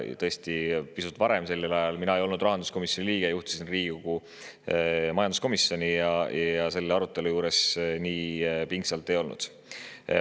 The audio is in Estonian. Aga tõesti, pisut varem ma ei olnud rahanduskomisjoni liige, vaid juhtisin Riigikogu majanduskomisjoni ja selle arutelu juures nii pingsalt ei olnud.